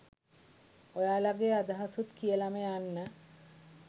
ඔයාලගේ අදහසුත් කියලම යන්න